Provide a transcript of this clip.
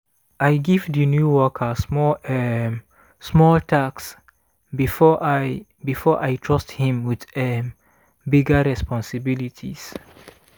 i give di new worker small um small tasks first before i before i trust him with um bigger responsibilities.